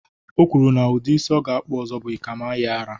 O kwuru na udi isi ọ ga-akpu ọzọ bụ ikamayiara